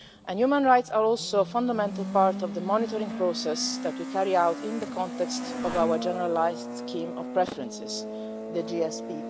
Human rights are also a fundamental part of the monitoring process that we carry out in the context of our generalised scheme of preferences, the GSP.